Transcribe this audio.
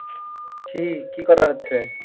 কি? কি করা হচ্ছে?